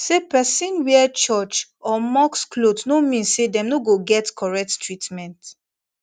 say person wear church or mosque cloth no mean say dem no go get correct treatment